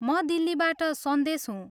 म दिल्लीबाट सन्देश हुँ।